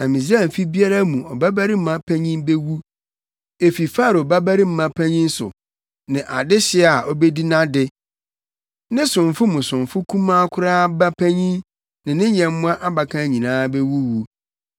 Na Misraim fi biara mu ɔbabarima panyin bewu. Efi Farao babarima panyin so, ne dehye a obedi nʼade, ne somfo mu somfo kumaa koraa ba panyin ne ne nyɛmmoa abakan nyinaa bewuwu.